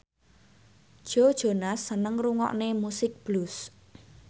Joe Jonas seneng ngrungokne musik blues